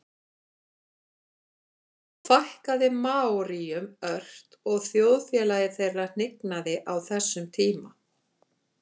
þó fækkaði maóríum ört og þjóðfélagi þeirra hnignaði á þessum tíma